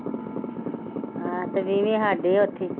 ਆਹ ਤੇ ਵੀਹਵੀਂ ਸਾਡੀ ਉੱਥੇ